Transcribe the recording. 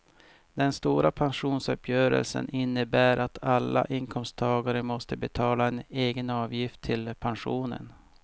Den stora pensionsuppgörelsen innebär att alla inkomsttagare måste betala en egenavgift till pensionen.